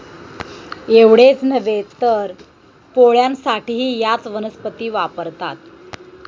एवढेच नव्हे, तर पोळ्यांसाठीही याच वनस्पती वापरतात.